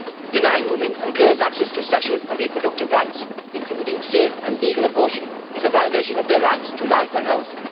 Denying women and girls access to sexual and reproductive rights, including safe and legal abortion, is a violation of their rights to life and health.